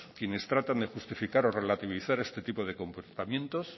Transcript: quienes tratan de justificar o relativizar este tipo de comportamiento